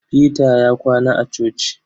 Peter ya kwana a coci.